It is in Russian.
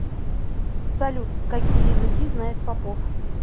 салют какие языки знает попов